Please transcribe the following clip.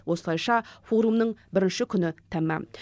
осылайша форумның бірінші күні тәмам